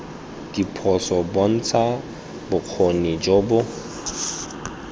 diphoso bontsha bokgoni jo bo